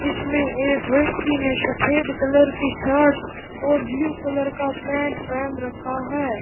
जिसमें एक व्यक्ति ने सफेद कलर की शर्ट और ब्लू कलर का पेंट पहन रखा है।